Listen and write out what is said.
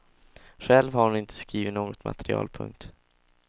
Själv har hon inte skrivit något material. punkt